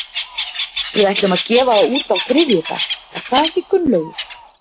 Við ætlum að gefa það út á þriðjudag, er það ekki Gunnlaugur?